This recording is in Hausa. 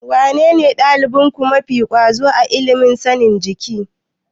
Wanene ɗalibinku mafi ƙwazo a ilimin sanin jiki?